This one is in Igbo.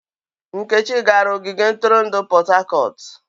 Nkechi gara ogige ntụrụndụ Port Harcourt.